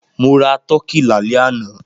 Mo ra tọkí lálẹ́ àná.